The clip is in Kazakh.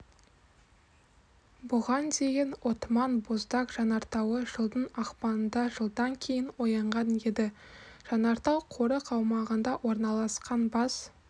бұған дейін отман боздаг жанартауы жылдың ақпанында жылдан кейін оянған еді жанартау қорық аумағында орналасқан бас